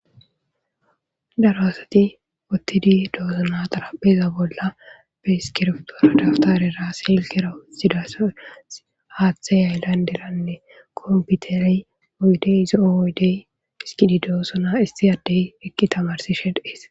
daro asati ottidi doozuna xarapeeza bolla be iskirftoradaftarera silkera utxidaso haaththe yayllanderanne komputerey oydey izoo oydey iskididoossona isti addey ekki tamarsi shedhees